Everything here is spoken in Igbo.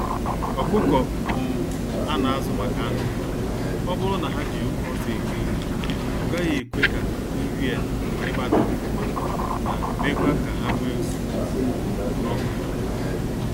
Ọkụkọ um a na azụ maka anụ ha, oburu na ha jị oke ọsọ eri nri, ọgaghị ekwe ka nrị a ịgba daa ofụma na mekwa ka ha nwe nsogbu um n'ọkpa ha.